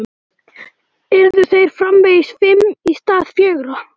Yrðu þeir framvegis fimm í stað fjögurra?